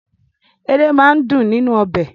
Edé máa ń dùn nínú ọbẹ̀.